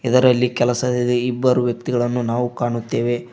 ಇದರಲ್ಲಿ ಕೆಲಸದಲ್ಲಿ ಇಬ್ಬರು ವ್ಯಕ್ತಿಗಳನ್ನು ನಾವು ಕಾಣುತ್ತೇವೆ.